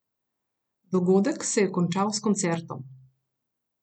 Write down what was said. Dogodek se je končal s koncertom.